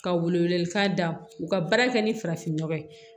Ka wele wele k'a da u ka baara kɛ ni farafinnɔgɔ ye